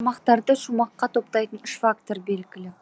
тармақтарды шумаққа топтайтын үш фактор белгілі